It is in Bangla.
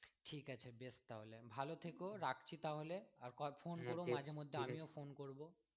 ঠিক আছে বেশ তাহলে ভালো থেকো রাখছি তাহলে আর phone করো মাঝের মধ্যে আমিও phone করবো।